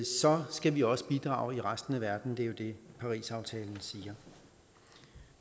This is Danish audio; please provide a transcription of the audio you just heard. så skal vi også bidrage i resten af verden det er jo det parisaftalen siger